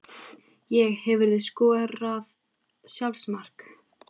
Ég Hefurðu skorað sjálfsmark?